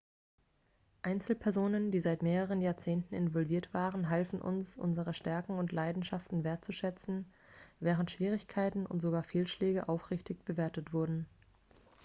einzelpersonen die seit mehreren jahrzehnten involviert waren halfen uns unsere stärken und leidenschaften wertzuschätzen während schwierigkeiten und sogar fehlschläge aufrichtig bewertet wurden